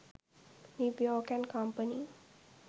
new york and company